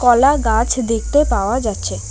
কলা গাছ দেখতে পাওয়া যাচ্ছে।